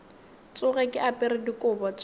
tsoge ke apere dikobo tša